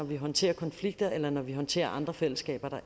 vi håndterer konflikter eller når vi håndterer andre fællesskaber